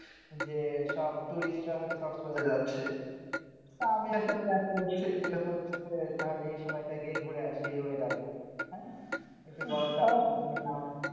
যে সব tourist রা হচ্ছে কক্সবাজারে যাচ্ছে। তা আমিও একটা plan করেছি যে হচ্ছে তাহলে এই সময়টা গিয়ে ঘুরে আসি এই weather এ, হ্যাঁ একটু গরমকাল,